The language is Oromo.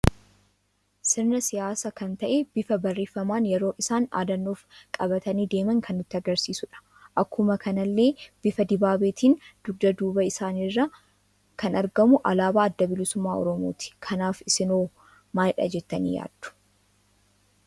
Sirna siyaasa kan ta'e bifa barreeffaman yeroo isaan dhaadannoof qabatani deeman kan nutti agarsiisudha. Akkuma kanallee bifa dibaabeetin dugda duubaa isaanirra kan argamu aalaaba adda bilisummaa oromooti. Kanaaf isinoo maaliidha jettani yaaddu?